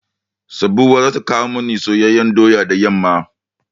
Sabuwa za ta kowo mani soyayyan doya da yamma.